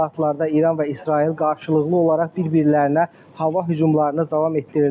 Bu saatlarda İran və İsrail qarşılıqlı olaraq bir-birlərinə hava hücumlarını davam etdirirlər.